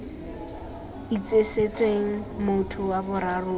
itsisetsweng motho wa boraro o